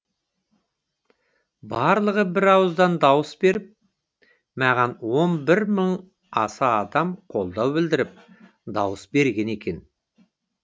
барлығы бір ауыздан дауыс беріп маған он бір мың аса адам қолдау білдіріп дауыс берген екен